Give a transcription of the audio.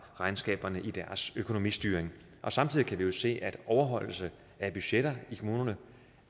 regnskaberne i deres økonomistyring samtidig kan vi jo se at overholdelsen af budgetterne i kommunerne